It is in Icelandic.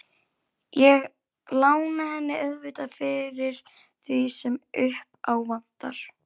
Ég lána henni auðvitað fyrir því sem upp á vantar.